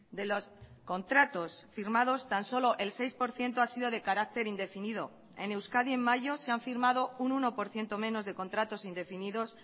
de los contratos firmados tan solo el seis por ciento ha sido de carácter indefinido en euskadi en mayo se han firmado un uno por ciento menos de contratos indefinidos